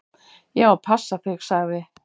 """Ég á að passa þig, sagði"""